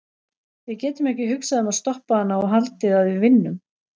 Við getum ekki hugsað um að stoppa hana og haldið að við vinnum.